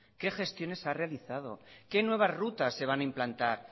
qué gestiones ha realizado qué nuevas rutas se van a implantar